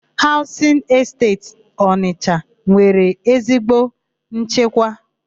Haụzịn Esteti Ọnịsha nwere ezigbo nchekwa.